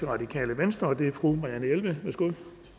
radikale venstre fru marianne jelved værsgo